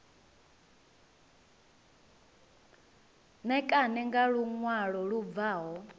ṋekane nga luṅwalo lu bvaho